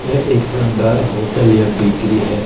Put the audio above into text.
यह एक शानदार होटल या बेकरी है।